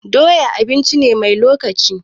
Doya abinci ce mai lokaci.